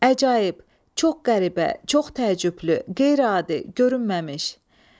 Əcaib, çox qəribə, çox təəccüblü, qeyri-adi, görünməmiş.